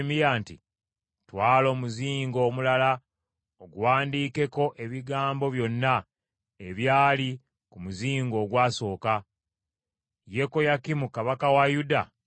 “Twala omuzingo omulala oguwandiikeko ebigambo byonna ebyali ku muzingo ogwasooka, Yekoyakimu kabaka wa Yuda gwe yayokya.